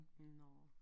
Nåå